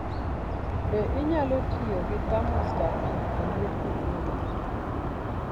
Be inyalo tiyo gi thermostat e rito liet e brooder?